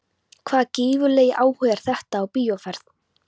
Hvaða gífurlegi áhugi er þetta á bíóferð?